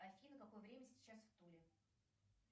афина какое время сейчас в туле